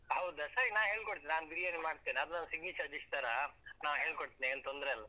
ಹೌದಾ ಸರಿ. ನಾನ್ ಹೇಳ್ಕೊಡ್ತಿನಿ. ನಾನ್ ಬಿರಿಯಾನಿ ಮಾಡ್ತೇನೆ. ಅದು ನನ್ signature dish ತರಾ. ನಾನ್ ಹೇಳ್ಕೊಡ್ತೇನೆ, ಏನ್ ತೊಂದ್ರೆಯಿಲ್ಲ.